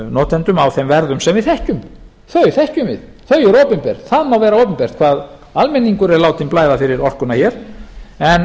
notendum á þeim verðum sem við þekkjum þau þekkjum við þau eru opinber það má vera opinbert hvað almenningur er látinn blæða fyrir orkuna hér en